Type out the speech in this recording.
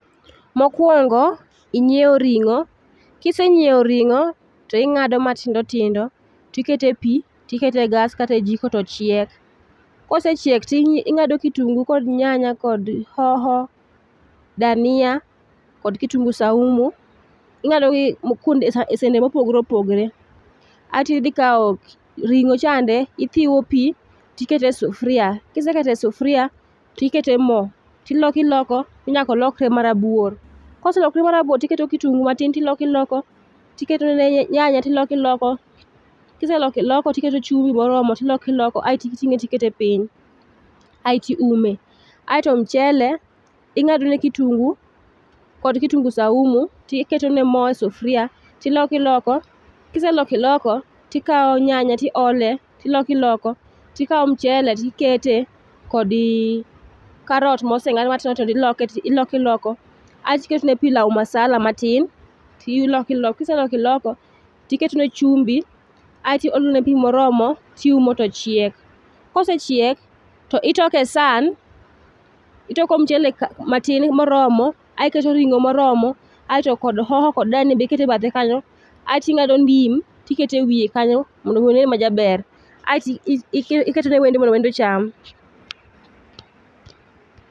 Mokuongo inyiew ring'o. Ka isenyiewo ring'o, to ing'ado matindo tindo to iketo epi to iketo e gas kata e jiko to chiek. Ka osechiek to ing'ado kitungu kod nyanya kod hoho, dania kod kitungu saumu, ing'adogi e sende mopogore opogore. Kaeto idhi ikawo ring'o to ithiwe pi to ikete sufria kiseketo e sufria to iketo mo tiloko iloko nyaka olokre marabuor. Ka oselokore marabuor to iketo kitungu matin kasto iloko iloko kiseloko iloko to iketo chumbi moromo to iloko iloko aeto iting'e to ikete piny aeto iume. Kaeto mchele ing'adone kitungu kod kitungu saumu to iketo ne mo e sufuria to iloko iloko ka iseloko iloko to ikawo nyanya to iole to iloko iloko to ikawo michele to ikete kod karot moseng'ad matindo tindo to iloko iloko kaetom ketone pilao masala matin to iloko iloko ka iseloko iloko to iketone chumbi kaeto iolo ne pi moromo to iumo to chiek. Ka osechiek to itoko e san. Itoko mchele matin moromo aeto iketo ring'o moromo aeto kod hoho kod danie be iketo e bathe kanyo, aeto ing'ado ndim be iketo e bathe kanyo mondo mi onen majaber. Aeto iketo ne wendo mondo wendo ocham